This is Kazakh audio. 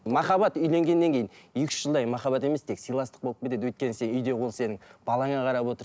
махаббат үйленгеннен кейін екі үш жылдай махаббат емес тек сыйластық болып кетеді өйткені үйде ол сенің балаңа қарап отыр